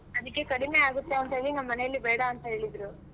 ಅದಿಕ್ಕೆ ಕಡಿಮೆ ಆಗುತ್ತೆ ಅಂತೇಳಿ ನಮ್ಮ್ ಮನೆಯಲ್ಲಿ ಬೇಡ ಅಂತ ಹೇಳಿದ್ರು.